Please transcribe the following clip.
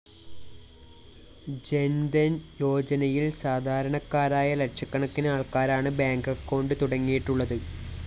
ജന്‍ധന്‍ യോജനയില്‍ സാധാരണക്കാരായ ലക്ഷക്കണക്കിന് ആള്‍ക്കാരാണ് ബാങ്ക്‌ അക്കൌണ്ട്‌ തുടങ്ങിയിട്ടുള്ളത്